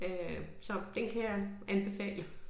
Øh så den kan jeg anbefale